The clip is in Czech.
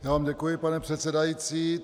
Já vám děkuji, pane předsedající.